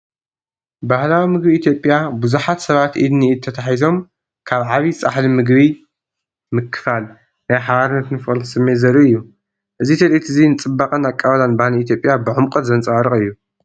ባህላዊ ምግቢ ኢትዮጵያ፣ ብዙሓት ሰባት ኢድ ንኢድ ተተሓሒዞም ካብ ዓቢ ጻሕሊ መግቢ ምክፋል፡ ናይ ሓባርነትን ፍቕርን ስምዒት ዘርኢ እዩ። እዚ ትርኢት እዚ ንጽባቐን ኣቀባብላን ባህሊ ኢትዮጵያ ብዕምቆት ዘንጸባርቕ እዩ።